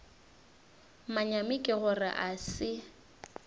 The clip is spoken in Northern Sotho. manyami ke gore a se